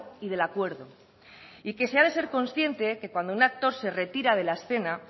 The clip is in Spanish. y del acuerdo y que se ha de ser consciente que cuando un actor se retira de la escena